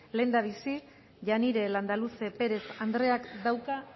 lehendabizi janire landaluze perez andreak dauka